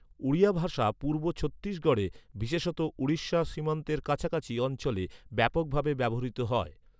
ওড়িয়া ভাষা পূর্ব ছত্তিশগড়ে, বিশেষত উড়িষ্যা সীমান্তের কাছাকাছি অঞ্চলে ব্যাপকভাবে ব্যবহৃত হয়।